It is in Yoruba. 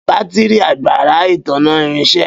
Batiri agbara itanna irinše.